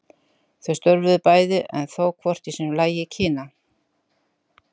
Þau störfuðu bæði, en þó hvort í sínu lagi, í Kína.